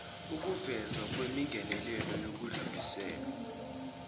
ukuvezwa kwemingenelelo yokudlulisela